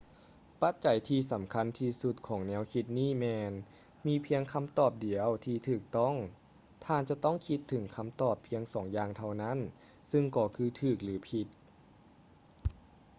ປັດໃຈທີ່ສຳຄັນທີ່ສຸດຂອງແນວຄິດນີ້ແມ່ນ ມີພຽງຄຳຕອບດຽວທີ່ຖືກຕ້ອງ ທ່ານຈະຕ້ອງຄິດເຖິງຄຳຕອບພຽງສອງຢ່າງເທົ່ານັ້ນ ຊຶ່ງກໍຄືຖືກ ຫຼື ຜິດ